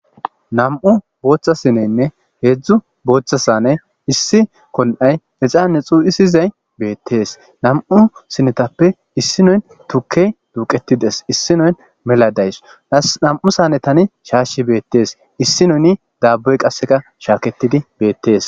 Nam77u bootha sineynne nam77u bootha saaney issi kon7au ixaane cuu7isizay betees nam7u sinetappe issoy tukkey duuqeti dees issinay mela dawu nam7u saanetan shaashi beetes issinono daaboy qasseka shaaketidi beetes.